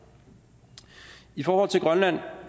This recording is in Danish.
i forhold til grønland